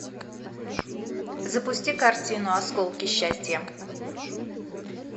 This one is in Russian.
запусти картину осколки счастья